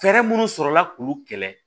Fɛɛrɛ minnu sɔrɔla k'u kɛlɛ